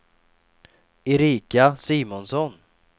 Erika Simonsson